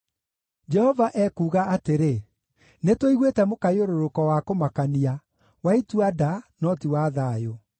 “Jehova ekuuga atĩrĩ: “ ‘Nĩtũiguĩte mũkayũrũrũko wa kũmakania, wa itua-nda, no ti wa thayũ.